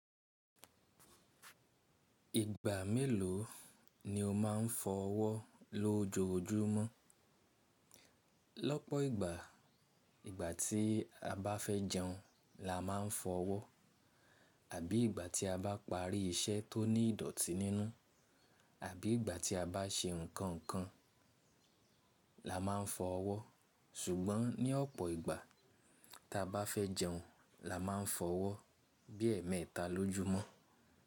Ìgbà mélòó ni o máa ń fọ ọwọ́ lójoojúmọ́? Lọ́pọ̀ ìgbà, ìgbà tí a bá fẹ́ jẹun la máa ń fọ ọwọ́ àbí ìgbà tí a bá parí iṣẹ́ tó ní ìdọ̀tí nínú àbí ìgbà tí a bá ṣe nǹkan kan la máa ń fọ ọwọ́. Ṣùgbọ́n ní ọ̀pọ̀ ìgbà ta bá fẹ́ jẹun la máa ń fọ ọwọ́ bí ẹẹ́mẹẹta lójúmọ́.